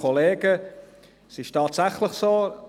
Es ist tatsächlich so: